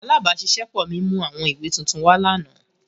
Alabaṣiṣẹpọ mi mu awọn iwe tuntun wa lana.